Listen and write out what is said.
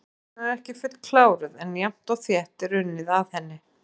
Síðan er ekki fullkláruð en jafnt og þétt er unnið að henni.